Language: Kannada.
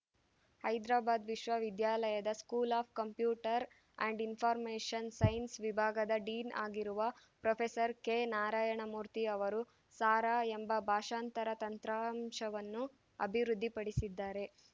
ಹೈದ್ರಾಬಾದ್‌ ವಿಶ್ವವಿದ್ಯಾಲಯದ school of computer and information science ವಿಭಾಗದ ಡೀನ್‌ ಆಗಿರುವ ಪ್ರೊಫೆಸರ್ ಕೆನಾರಾಯಣ ಮೂರ್ತಿ ಅವರು ಸಾರಾ ಎಂಬ ಭಾಷಾಂತರ ತಂತ್ರಾಂಶವನ್ನು ಅಭಿವೃದ್ಧಿಪಡಿಸಿದ್ದಾರೆ